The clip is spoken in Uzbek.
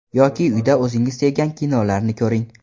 Yoki uyda o‘zingiz sevgan kinolarni ko‘ring.